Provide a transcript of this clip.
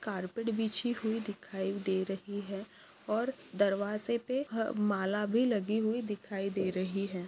Carpet बिछी हुई दिखाई दे रही है और दरवाजे पे ह माला भी लगी हुई दिखाई दे रही है।